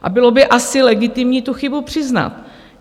A bylo by asi legitimní tu chybu přiznat.